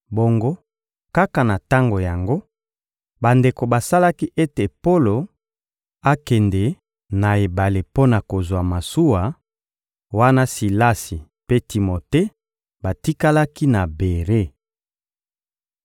Bongo, kaka na tango yango, bandeko basalaki ete Polo akende na ebale mpo na kozwa masuwa, wana Silasi mpe Timote batikalaki na Bere.